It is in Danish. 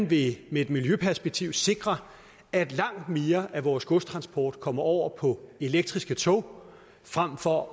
vi med et miljøperspektiv sikre at langt mere af vores godstransport kommer over på elektriske tog frem for at